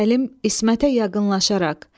Səlim İsmətə yaqınlaşaraq.